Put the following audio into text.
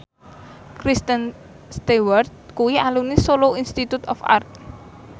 Kristen Stewart kuwi alumni Solo Institute of Art